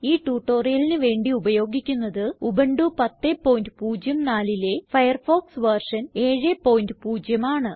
ഈ tutorialലിന് വേണ്ടി ഉപയോഗിക്കുന്നത് ഉബുന്റു 1004ലെ ഫയർഫോക്സ് വെർഷൻ 70 ആണ്